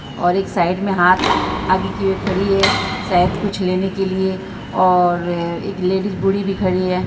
और एक साइड में हाथ आगे किये हुए खड़ी है शायद कुछ लेने के लिए और एक लेडीज बूढ़ी भी खड़ी है।